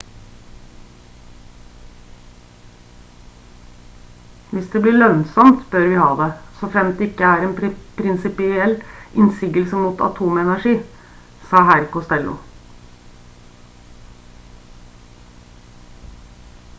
«hvis det blir lønnsomt bør vi ha det. så fremt det ikke er en prinsipiell innsigelse mot atomenergi» sa herr costello